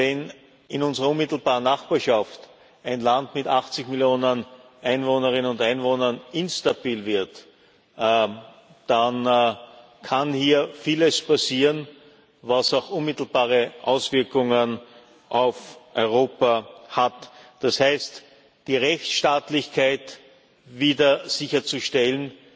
Denn wenn in unserer unmittelbaren Nachbarschaft ein Land mit 80 Millionen Einwohnerinnen und Einwohnern instabil wird, dann kann hier vieles passieren, was auch unmittelbare Auswirkungen auf Europa hat. Das heißt, die Rechtsstaatlichkeit wieder sicherzustellen,